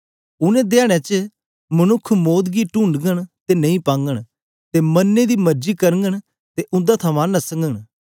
उनेंगी धयारे च मनुक्ख मौत गी टूंडगन ते नेई पाघंन ते मरने दी मरजी करघंन ते उंदे थमां नसग